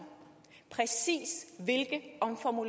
det